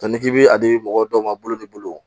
ni k'i b'a di mɔgɔ dɔw ma olu bolo